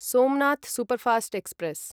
Somnath superfast express